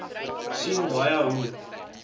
sien baie hoe